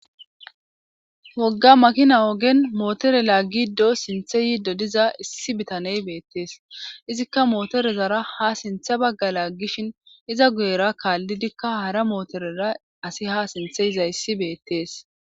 wogga makina ogen mootore laaggido sinthe yi dodiza issi bitaney beettees izikka mootorezara ha sinthe bagga laaggishin iza guyera kaallidikka hara mootorera asi ha sintheyiza issi beettees